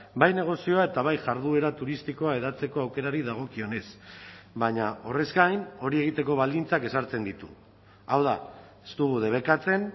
bai negozioa eta bai jarduera turistikoa hedatzeko aukerari dagokionez baina horrez gain hori egiteko baldintzak ezartzen ditu hau da ez dugu debekatzen